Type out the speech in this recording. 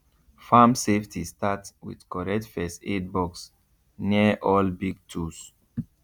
farm safety start with correct first aid box near all big tools